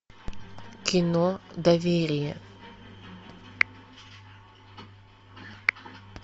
кино доверие